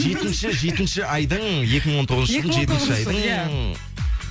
жетінші айдың екі мың он тоғызыншы